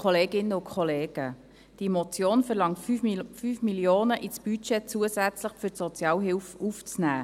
Diese Motion verlangt, 5 Mio. Franken zusätzlich für die Sozialhilfe im Budget aufzunehmen.